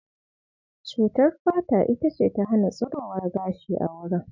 Cutar fata ita ce ta hana tsirowar gashi a wurin.